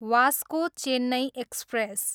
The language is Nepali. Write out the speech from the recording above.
Vasco Chennai express